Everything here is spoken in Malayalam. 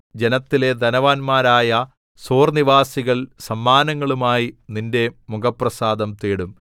ജനത്തിലെ ധനവാന്മാരായ സോർനിവാസികൾ സമ്മാനങ്ങളുമായി നിന്റെ മുഖപ്രസാദം തേടും